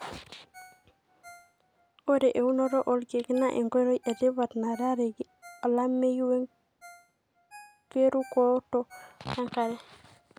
ore eunoto olkeek na enkoitoi etipat narareki olameyu werukoto enkare.